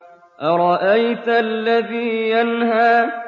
أَرَأَيْتَ الَّذِي يَنْهَىٰ